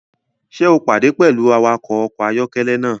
Ṣe o pade pẹlu awakọ ọkọ ayọkẹlẹ naa?